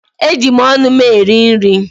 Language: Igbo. Eji m ọnụ m eri nri.